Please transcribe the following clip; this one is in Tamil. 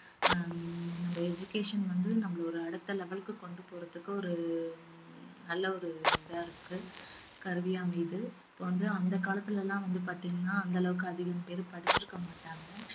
ஹம் நம்ம education வந்து நம்மளோட அடுத்த level க்கு கொண்டு போறதுக்கு ஒரு நல்ல ஒரு இதா இருக்கு கருவியா அமையுது இப்ப வந்து அந்த காலத்துல எல்லாம் வந்து பாத்தீங்கன்னா அந்த அளவுக்கு அதிகம் பேர் படிச்சிருக்கமாட்டாங்க